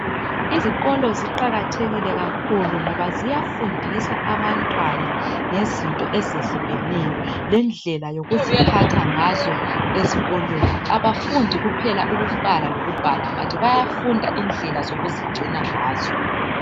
Izikolo ziqakathekile kakhulu, ngoba ziyafundisa abantwana ngezinto ezehlukeneyo. Lendlela zokuziphatha ngazo ezikolweni. Kabafundi kuphela ukubala lokubhala, kodwa bayafunda indlela zokuzigcina ngazo.